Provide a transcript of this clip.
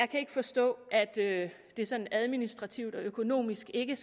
kan ikke forstå at det det sådan administrativt og økonomisk ikke